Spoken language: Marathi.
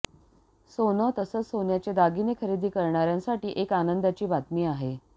सोनं तसंच सोन्याचे दागिने खरेदी करणाऱ्यांसाठी एक आनंदाची बातमी आहे